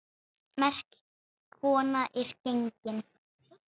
Merk kona er gengin.